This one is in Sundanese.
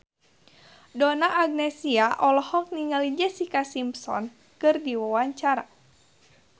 Donna Agnesia olohok ningali Jessica Simpson keur diwawancara